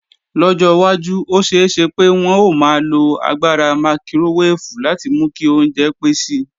Lọ́jọ́ wájú, ó ṣeé ṣe pé wọn ó maa lo agbára mákíróweèfù láti mú kí oúnjẹ pé si.